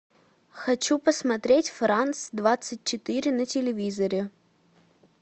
хочу посмотреть франц двадцать четыре на телевизоре